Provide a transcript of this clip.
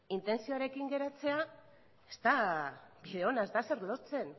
intentzioarekin geratzea ez da bide ona ez da ezer lortzen